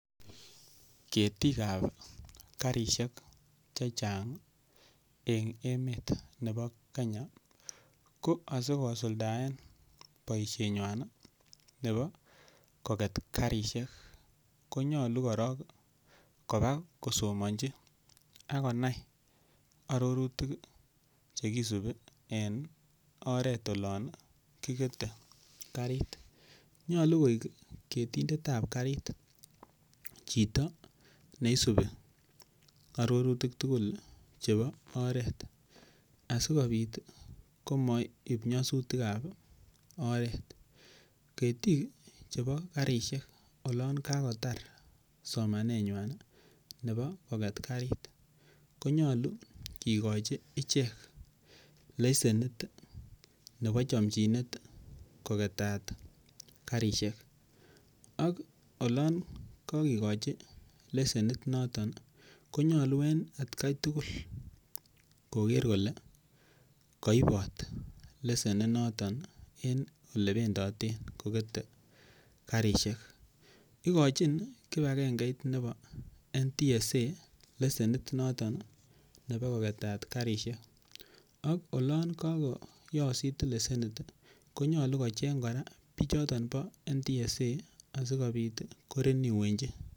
Ketikab karisiek che chang en met nebo Kenya ko asikosuldaen boisienywan nebo koget karisiek konyolu korong koba kosomonji ak konai agobo arorutik che kisubi enoret olon kigete karit. Nyolu koik ketindet ab karit chito neisubi arorutik tugul chebo oret asikobit komaib nyasutik ab oret. Ketik chebo karisiek olon kagotar somanenywan nebo koget karit konyolu kigochi ichek lesenit nebo chomchinet kogetat karisiek ak olon kogikochi lesenit noton konyolu en atkai tugul koger kole koibot lesenit noton en ole bendoten kogete karisiek. Igochin kipagengeit noton nebo NTSA lesenit nebo kogetat karisiek ak olon kagoyosit lesenit konolu kocheng kora bichoto bo NTSA asikobit korenewenchi.